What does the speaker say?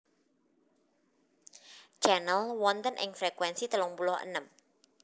Channel wonten ing frekuensi telung puluh enem